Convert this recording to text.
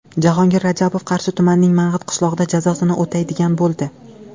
Jahongir Rajabov Qarshi tumanining Mang‘it qishlog‘ida jazosini o‘taydigan bo‘ldi.